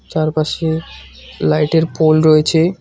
চারপাশে লাইটের পোল রয়েছে।